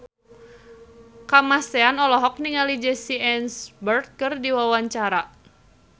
Kamasean olohok ningali Jesse Eisenberg keur diwawancara